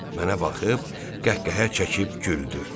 Mənə baxıb qəhqəhə çəkib güldü.